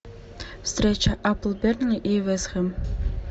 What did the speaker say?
встреча апл бернли и вест хэм